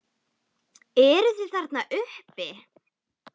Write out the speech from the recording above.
Eruð þið þarna uppi!